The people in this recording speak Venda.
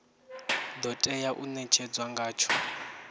do tea u netshedzwa ngatsho